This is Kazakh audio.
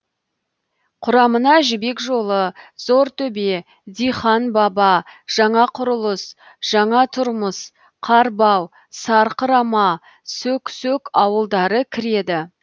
құрамына жібек жолы зортөбе диқан баба жаңақұрылыс жаңатұрмыс қарбау сарқырама сөк сөк ауылдары кіреді